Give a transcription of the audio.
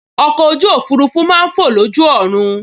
Ọkọ̀ ojú òfurufú máa n fọ̀ lójú ọ̀run